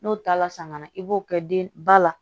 N'o taala san ka na i b'o kɛ den ba la